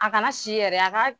A kana si yɛrɛ a ka